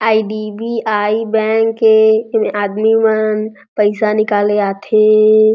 IDBI. Bank के एमे आदमी मन पइसा निकाले आथे।